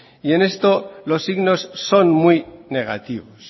y en esto los signos son muy negativos